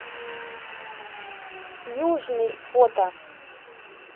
южный фото